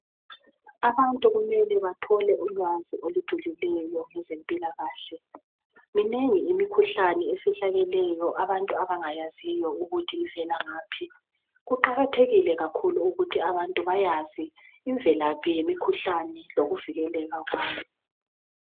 Abantu kumele bathole ulwazi olujulileyo ngezempilakahle minengi imikhuhlane efihlakileyo abantu abangayaziyo ukuthi ivela ngaphi kuqakathekile kakhulu ukuthi abantu bayazi ivelaphi yemikhuhlane lokuvikeleka kwayo.